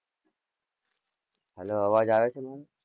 હવે અવાજ આવે છે?